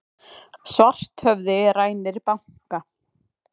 Svarthöfði rænir banka